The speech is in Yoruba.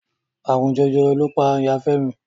Àrùn Jẹjẹrẹ ló pa Ìya Fẹ́mi.